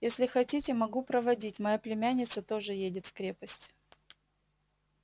если хотите могу проводить моя племянница тоже едет в крепость